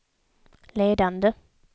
ledande